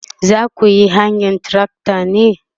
zakuyi hayan trakta ne?